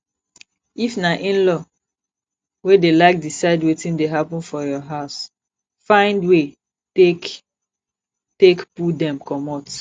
if na inlaw wey de like decide wetin dey happen for your house find wey take take pull dem comot